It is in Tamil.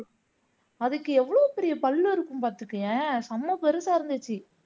அதுக்கு எவ்வளவு பெரிய பல்லு இருக்கும் பாத்துக்கோயேன் செம பெருசா இருந்துச்சு